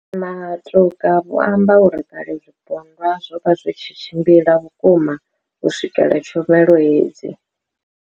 Matuka vho amba uri kale zwipondwa zwo vha zwi tshi tshimbila vhukuma u swikelela tshumelo hedzi.